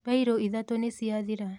Mbairũ ithatũ nĩciathiraa.